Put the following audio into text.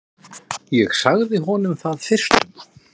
Ég sagði honum það fyrstum.